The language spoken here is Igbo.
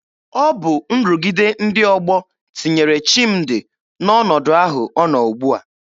Ọ bụ nrụgide ndị ọgbọ tinyere Chimdi n'ọnọdụ ahụ ọ nọ ugbua.